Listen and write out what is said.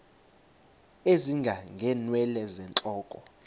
ezinga ngeenwele zentloko